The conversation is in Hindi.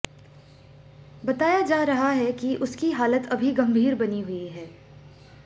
बताया जा रहा है कि उसकी हालत अभी गंभीर बनी हुई है